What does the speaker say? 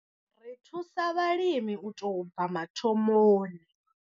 Ri thusa vhalimi u tou bva mathomoni.